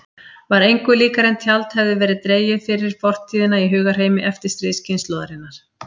Var engu líkara en tjald hefði verið dregið fyrir fortíðina í hugarheimi eftirstríðskynslóðarinnar.